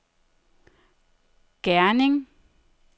Gerning